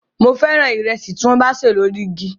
Mo fẹ́ràn ìrẹsì tí wọ́n bá ṣè lórí igi